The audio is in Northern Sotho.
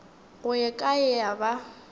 go ye kae ya ba